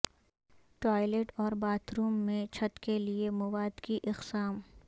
toilet اور bathroom میں چھت کے لئے مواد کی اقسام